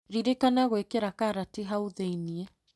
Ririkana gwĩkĩra karati hau thĩiniĩ.